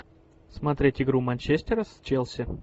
смотреть игру манчестера с челси